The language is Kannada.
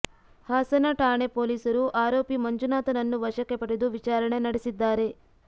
ಹಾಸನ ಠಾಣೆ ಪೊಲೀಸರು ಆರೋಪಿ ಮಂಜುನಾಥನನ್ನು ವಶಕ್ಕೆ ಪಡೆದು ವಿಚಾರಣೆ ನಡೆಸಿದ್ದಾರೆ